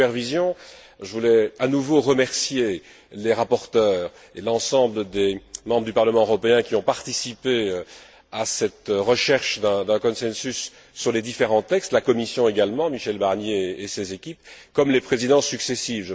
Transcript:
Pour la supervision, je voulais à nouveau remercier les rapporteurs et l'ensemble des membres du Parlement européen qui ont participé à cette recherche d'un consensus sur les différents textes, la Commission également, Michel Barnier et ses équipes, comme les Présidences successives.